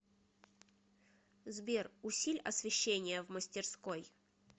сбер усиль освещение в мастерской